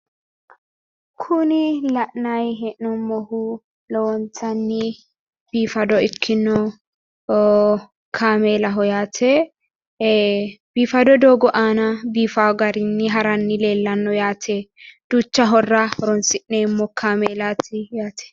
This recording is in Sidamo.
kuni la'nayi hee'noommohu lowontanni biifado ikkino kaameelaho yaate ee biifado doogo aana biifaa garinni haranni leellanno yaate duucha horora horonnsi'neemmo kaameelaati yaate.